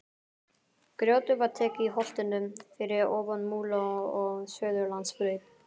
Grjótið var tekið í holtinu fyrir ofan Múla við Suðurlandsbraut.